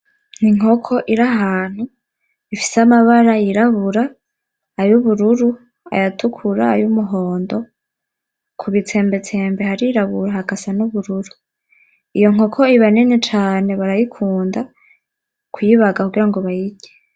Inkoko ir'ahantu ifise amabara yirabura ay'ubururu, ayatukura, ay'umuhondo, kubitsembetsembe harirabura hagasa n'ubururu, iyo nkoko iba nini cane barayikunda kuyibaga kugira bayirye.